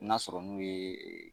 N'a sɔrɔ n'u ye